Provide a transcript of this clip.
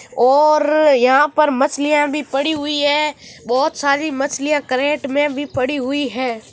और यहाँ पर मछलिया भी पड़ी हुई है बहुत सारी मछलिया कैरट में भी पड़ी हुई है।